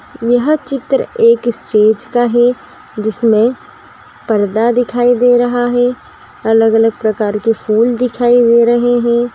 यह चित्र एक स्टेज का है जिसमे पर्दा दिखाई दे रहा है | अलग अलग प्रकार के फूल दिखाई दे रहे हैं ।